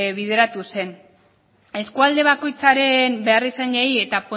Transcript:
bideratu zen eskualde bakoitzaren beharrizanei eta